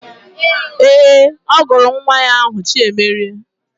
Ee, ọ gụrụ nwa ahụ Chiemerie